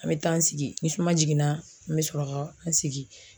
An bɛ taa an sigi ni suma jiginna an bɛ sɔrɔ ka an sigi